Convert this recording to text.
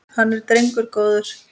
Hann var drengur góður.